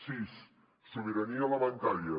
sis sobirania alimentària